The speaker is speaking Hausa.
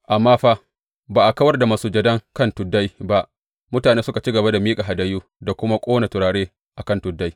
Amma fa ba a kawar da masujadan kan tuddai ba; mutane suka ci gaba da miƙa hadayu da kuma ƙona turare a kan tuddai.